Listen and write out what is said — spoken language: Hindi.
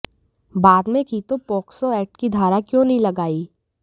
बाद मे की तो पॉक्सो एक्ट की धारा क्यों नहीं लगाई